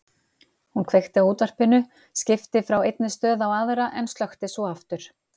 Hún kveikti á útvarpinu, skipti frá einni stöð á aðra en slökkti svo aftur.